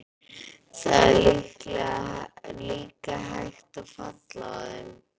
Það er líka hægt að falla á þeim.